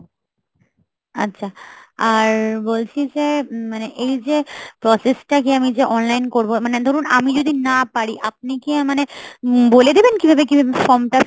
আচ্ছা আর বলছি যে মানে এই যে process টাকে আমি যে online করবো মানে ধরুন আমি যদি না পারি আপনি গিয়ে মানে উম বলে দেবেন কিভাবে কিভাবে form টা,